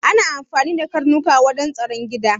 Ana amfani da karnuka wajen tsaron gida